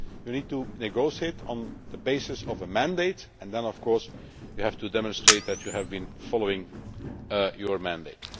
You need to negotiate on the basis of a mandate, and then, of course, you have to demonstrate that you have been following your mandate.